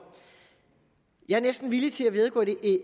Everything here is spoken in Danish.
jeg er næsten villig til at